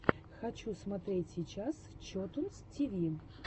хочу смотреть сейчас чотунз ти ви